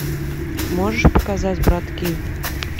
можешь показать братки